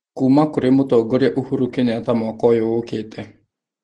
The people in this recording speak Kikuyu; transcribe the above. Kuuma kũrĩ Mũtongoria Uhuru Kenyatta mwaka ũyũ ũkĩte.